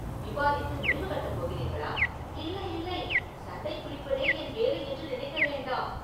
விவாதித்து முடிவு கட்டப் போகிறீர்களா?” “இல்லை, இல்லை சண்டை பிடிப்பதே என் வேலை என்று நினைக்க வேண்டாம்.